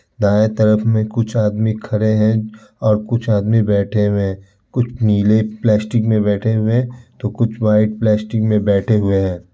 दाएं तरफ मे कुछ आदमी खड़े हैं और कुछ आदमी बैठे हुए हैं। कुछ नीले प्लास्टिक मे बैठे हुए हैं तो कुछ व्हाइट प्लास्टिक मे बैठे हुए हैं।